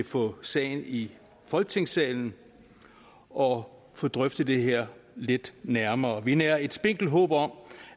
få sagen i folketingssalen og få drøftet det her lidt nærmere vi nærer et spinkelt håb om